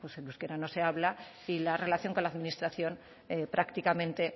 el euskera no se habla y la relación con la administración prácticamente